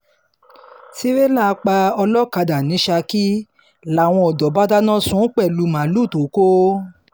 tírélà pa ọlọ́kadà ní saki làwọn ọ̀dọ́ bá dáná sun ún pẹ̀lú màálùú tó kọ̀